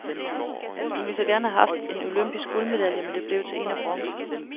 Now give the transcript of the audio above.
Hun ville så gerne have haft en olympisk guldmedalje, men det blev til en af bronze.